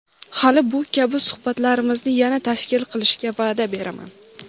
Hali bu kabi suhbatlarimizni yana tashkil qilishga vaʼda beraman.